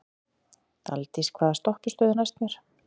Daldís, hvaða stoppistöð er næst mér?